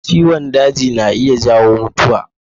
Ciwon daji na iya jawo mutuwa.